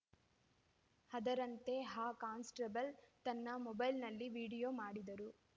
ಅದರಂತೆ ಆ ಕಾನ್‌ಸ್ಟೇಬಲ್‌ ತನ್ನ ಮೊಬೈಲ್‌ನಲ್ಲಿ ವಿಡಿಯೋ ಮಾಡಿದರು